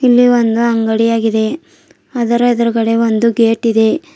ಇಲ್ಲಿ ಒಂದು ಅಂಗಡಿ ಅಗಿದೆ ಅದರ ಎದ್ರುಗಡೆ ಒಂದು ಗೇಟ್ ಇದೆ.